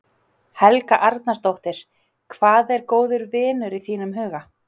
Helga Arnardóttir: Hvað er góður vinur í þínum huga?